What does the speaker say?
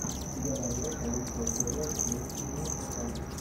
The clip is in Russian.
у тебя найдется лучшая серия кэйси нейстата